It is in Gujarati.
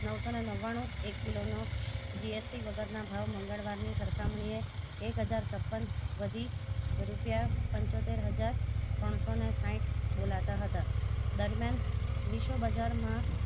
નવસો ને નવાણું એક કિલો નો GST વગર ના ભાવ મગળવાર ની સરખામણી એ એક હજાર છપ્પન વધી રૂપિયા પંચોતેર હજાર ત્રણસો ને સાહીઠ બોલતા હતા દરમિયાન વિશ્વ બજાર માં